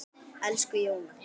Elsku Jóna.